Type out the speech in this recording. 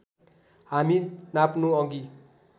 हामी नाप्नु अघि